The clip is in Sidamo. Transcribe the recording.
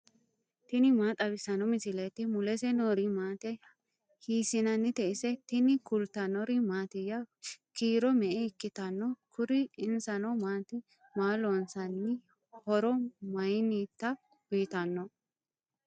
tini maa xawissanno misileeti ? mulese noori maati ? hiissinannite ise ? tini kultannori mattiya? kiiro me'e ikkitanno kuri ? insanno maati? Maa loonsanni? horo mayiinnitta uuyittanno?